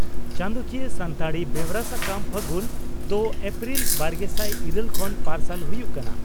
ᱪᱟᱸᱫᱚᱠᱤᱭᱟᱹ ᱥᱟᱱᱛᱟᱲᱤ ᱵᱮᱣᱨᱟ ᱥᱟᱠᱟᱢ 'ᱯᱷᱟᱹᱜᱩᱱ' ᱫᱚ ᱮᱯᱨᱤᱞ ᱵᱟᱨᱜᱮᱥᱟᱭ ᱤᱨᱟᱹᱞ ᱠᱷᱚᱱ ᱯᱟᱨᱥᱟᱞ ᱦᱩᱭᱩᱜ ᱠᱟᱱᱟ ᱾